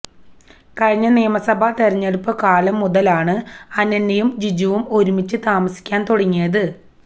കഴിഞ്ഞ നിയമസഭാ തിരഞ്ഞടുപ്പുകാലം മുതലാണ് അന്യനയും ജിജുവും ഒരുമിച്ച് താമസിക്കാൻ തുടങ്ങിയത്